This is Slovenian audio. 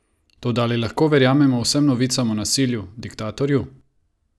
Toda ali lahko verjamemo vsem novicam o nasilju, diktatorju?